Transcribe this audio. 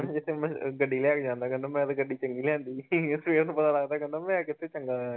ਜਿੱਥੇ ਗੱਡੀ ਲੈ ਕੇ ਜਾਂਦਾ ਕਹਿੰਦਾ ਮੈਂ ਤਾਂ ਗੱਡੀ ਚੰਗੀ ਲਿਆਂਦੀ ਆ ਸਵੇਰ ਨੂੰ ਪਤਾ ਲੱਗਦਾ ਕਹਿੰਦਾ ਮੈਂ ਕਿੱਥੇ ਚੰਗਾ ਹੋਇਆ